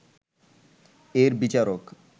এর বিচারক